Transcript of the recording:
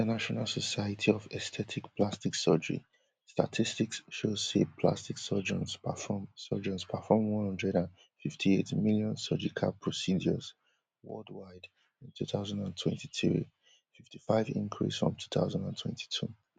inational society of aesthetic plastic surgery statistics show say plastic surgeons perform surgeons perform one hundred and fifty-eight million surgical procedures worldwide in two thousand and twenty-three fifty-five increase from two thousand and twenty-two